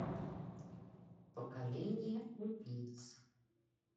поколение убийц